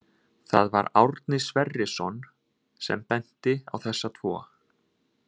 Það var Árni Sverrisson sem benti á þessa tvo.